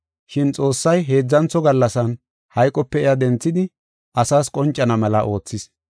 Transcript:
Shin Xoossay heedzantho gallasan hayqope iya denthidi asaas qoncana mela oothis.